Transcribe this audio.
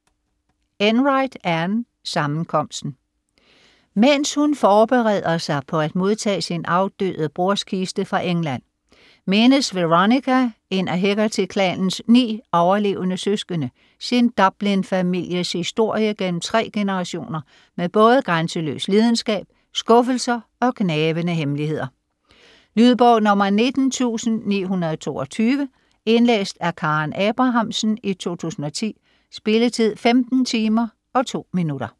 Enright, Anne: Sammenkomsten Mens hun forbereder sig på at modtage sin afdøde broders kiste fra England, mindes Veronica, en af Hegarty-klanens ni overlevende søskende, sin Dublin-families historie gennem tre generationer med både grænseløs lidenskab, skuffelser og gnavende hemmeligheder. Lydbog 19922 Indlæst af Karen Abrahamsen, 2010. Spilletid: 15 timer, 2 minutter.